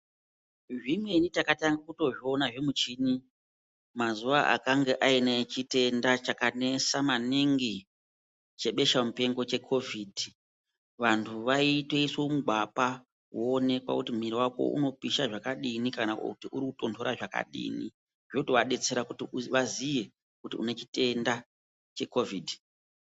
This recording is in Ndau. Zvimweni takatange kutozviona zvimichini, mazuva akange aine chitenda chakanesa maningi chebesha mupengo chekovhidhi. Vantu waitoiswe mugwapa woonekwa kuti mwiri wako unopisha zvakadini kana kuti uri kutonhora zvakadini zvotowadetsera kuti waziye kuti une chitenda chekovhidhi.